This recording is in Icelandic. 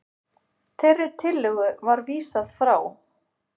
Þeirri tillögu var vísað frá